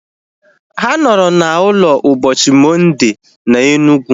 Ha nọrọ na ụlọ ụbọchị Mọnde na Enugu